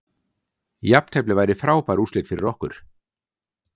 Jafntefli væri frábær úrslit fyrir okkur